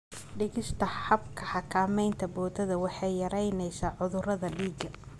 Dhigista habka xakamaynta boodada waxay yaraynaysaa cudurada dhiiga.